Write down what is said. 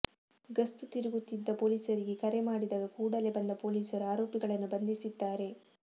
ಗಸ್ತು ತಿರುಗುತ್ತಿದ್ದ ಪೊಲೀಸರಿಗೆ ಕರೆ ಮಾಡಿದಾಗ ಕೂಡಲೇ ಬಂದ ಪೊಲೀಸರು ಆರೋಪಿಗಳನ್ನು ಬಂಧಿಸಿದ್ದಾರೆ